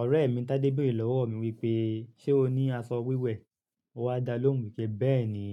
Ọ̀rẹ́ mi Tádé béèrè lọ́wọ́ mi wípé, "ṣé o ní aṣọ wíwẹ̀?" Mo á dá lóhùn wípé, "bẹ́ẹ̀ni,